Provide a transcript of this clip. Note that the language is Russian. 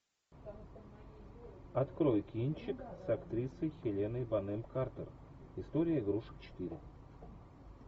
открой кинчик с актрисой хеленой бонем картер история игрушек четыре